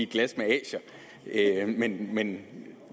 glas med asier men